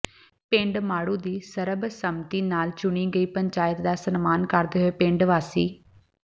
ਪਿੰਡ ਮਾੜੂ ਦੀ ਸਰਬਸੰਮਤੀ ਨਾਲ ਚੁਣੀ ਗਈ ਪੰਚਾਇਤ ਦਾ ਸਨਮਾਨ ਕਰਦੇ ਹੋਏ ਪਿੰਡ ਵਾਸੀ